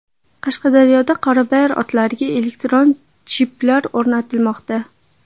Qashqadaryoda qorabayir otlariga elektron chiplar o‘rnatilmoqda.